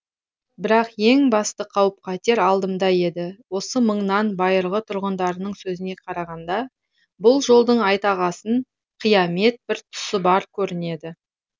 бірақ ең басты қауіп қатер алдымда еді осы маңның байырғы тұрғындарының сөзіне қарағанда бұл жолдың айтағасын қиямет бір тұсы бар көрінеді